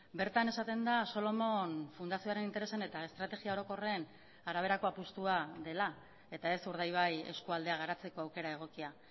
bertan esaten da solomon fundazioaren interesen eta estrategia orokorren araberako apustua dela eta ez urdaibai eskualdea garatzeko aukera egokia